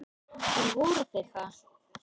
En voru þeir það?